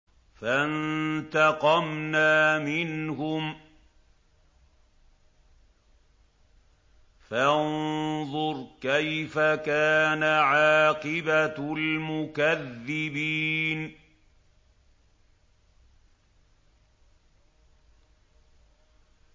فَانتَقَمْنَا مِنْهُمْ ۖ فَانظُرْ كَيْفَ كَانَ عَاقِبَةُ الْمُكَذِّبِينَ